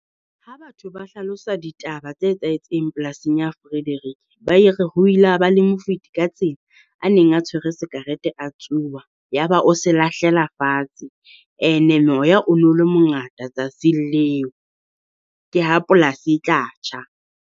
Ha batho ba hlalosa ditaba tse etsahetseng polasing ya Frederick, ba e re ho ile ha ba le mofeti ka tsela a neng a tswere sekarete a tsuba. Ya ba o se lahlela fatshe, And-e moya o no le mongata tsatsing leo ke ha polasi e tla tjha.